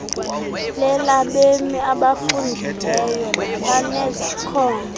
lelabemi abafundileyo nabanezakhono